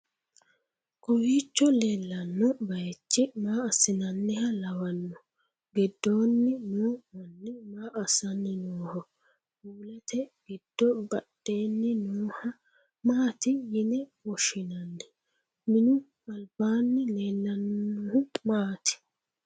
kowiicho leellanno bayichi maa assinanniha lawanno? giddoonni no manni maa assanni nooho? puulete giddo badheenni nooha maati yine woshshinanni/minu albaanni leellannohu maati?